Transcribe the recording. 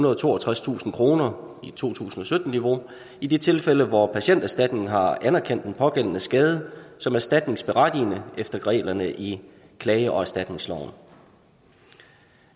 og toogtredstusind kroner i to tusind og sytten niveau i de tilfælde hvor patienterstatningen har anerkendt den pågældende skade som erstatningsberettigende efter reglerne i klage og erstatningsloven